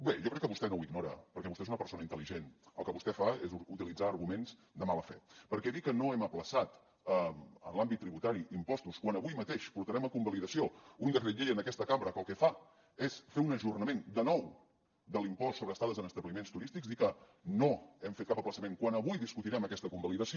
bé jo crec que vostè no ho ignora perquè vostè és una persona intel·ligent el que vostè fa és utilitzar arguments de mala fe perquè dir que no hem ajornat en l’àmbit tributari impostos quan avui mateix portarem a convalidació un decret llei en aquesta cambra que el que fa és fer un ajornament de nou de l’impost sobre estades en establiments turístics dir que no hem fet cap ajornament quan avui discutirem aquesta convalidació